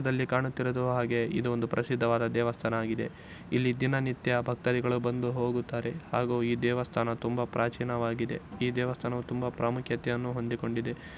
ಇದಲ್ಲಿ ಕಾಣಿತಿರುವುದು ಹಾಗೆ ಇದು ಪ್ರಸಿದವದ ದೇವಸ್ಥಾನ ಆಗಿದೆ. ಇಲ್ಲಿ ದಿನನಿತ್ಯ ಬಗ್ತಾದಿಗಳು ಬಂದು ಹೂಗುತ್ತಾರೆ ಹಾಗು ಈ ದೇವಸ್ಥಾನವು ತುಂಬಾ ಪ್ರಾಚೀನ ಆಗಿದೆ ಈ ದೇವಸ್ಥಾನವು ತುಂಬಾ ಪ್ರಾಮುಖ್ಯತೆಯನು ಹೂಂದುಕೊಂಡಿದೆ .